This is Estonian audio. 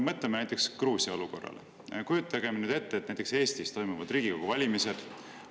Mõtleme näiteks Gruusia olukorrale ja kujutame ette, et näiteks Eestis toimuvad Riigikogu valimised.